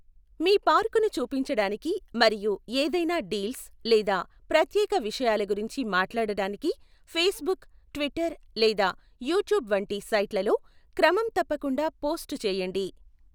మీ పార్కును చూపించడానికి మరియు ఏదైనా డీల్స్ లేదా ప్రత్యేక విషయాల గురించి మాట్లాడటానికి ఫేస్బుక్, ట్విట్టర్ లేదా యూట్యూబ్ వంటి సైట్లలో క్రమం తప్పకుండా పోస్ట్ చేయండి.